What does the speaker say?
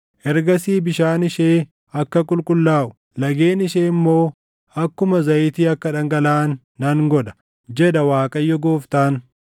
Ergasii bishaan ishee akka qulqullaaʼu, lageen ishee immoo akkuma zayitii akka dhangalaʼan nan godha, jedha Waaqayyo Gooftaan.